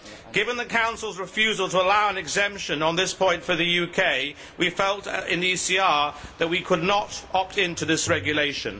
Given the Council's refusal to allow an exception on this point for the UK, we felt in the ECR that we could not opt into this regulation.